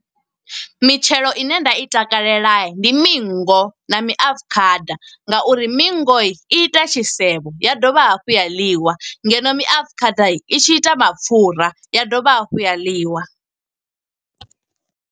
Mitshelo ine nda i takalela, ndi mingo na miafukhada, nga uri mingo i ita tshisevho ya dovha hafhu ya ḽiwa. Ngeno miafukhada i tshi ita mapfura ya dovha hafhu ya ḽiwa.